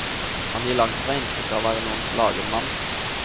Han gir langtfra inntrykk av å være noen slagen mann.